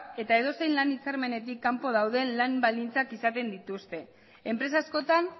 eta edozein lan hitzarmenetik kanpo dauden lan baldintzak izaten dituzte enpresa askotan